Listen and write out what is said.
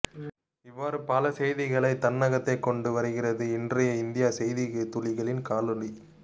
இவ்வாறு பல செய்திகளை தன்னகத்தே கொண்டு வருகிறது இன்றைய இந்திய செய்தித்துளிகள் காணொளி